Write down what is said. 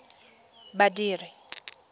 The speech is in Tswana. badiri